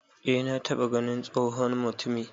E na taba ganin tsohon mutumi